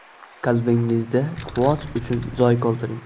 Qalbingizda quvonch uchun joy qoldiring.